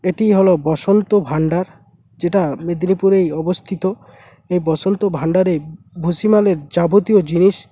এটি হলো বসন্ত ভান্ডার যেটা মেদিনীপুর এই অবস্থিত এই বসন্ত ভান্ডারে ভুসিমালে যাবতীয় জিনিস